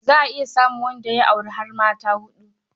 Za a iya samun wanda ya auri har mata huɗu.